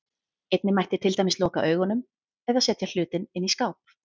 Einnig mætti til dæmis loka augunum, eða setja hlutinn inn í skáp.